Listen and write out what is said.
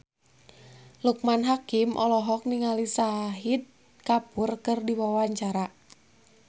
Loekman Hakim olohok ningali Shahid Kapoor keur diwawancara